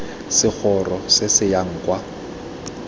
segoro se se yang kwa